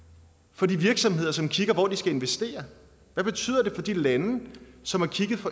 for de virksomheder som kigger på hvor de skal investere hvad betyder det for de lande som har kigget